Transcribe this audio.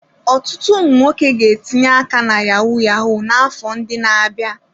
Ọtụtụ ụmụ nwoke ga-etinye aka na yahu-yahu n'afọ ndị na-abịa.